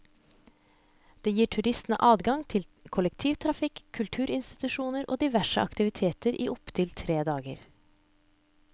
Det gir turistene adgang til kollektivtrafikk, kulturinstitusjoner og diverse aktiviteter i opptil tre dager.